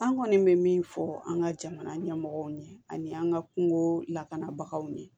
An kɔni bɛ min fɔ an ka jamana ɲɛmɔgɔw ɲɛ ani an ka kungo lakanabagaw ɲɛ